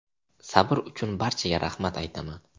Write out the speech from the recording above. Sabr uchun barchaga rahmat aytaman.